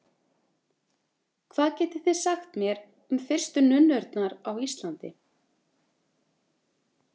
Hvað getið þið sagt mér um fyrstu nunnurnar á Íslandi?